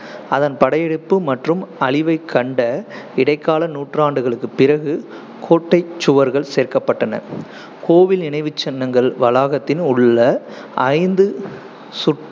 அதன் படையெடுப்பு மற்றும் அழிவைக் கண்ட இடைக்கால நூற்றாண்டுகளுக்குப் பிறகு கோட்டைச் சுவர்கள் சேர்க்கப்பட்டன. கோவில் நினைவுச்சின்னங்கள் வளாகத்தின் உள்ள ஐந்து சுற்று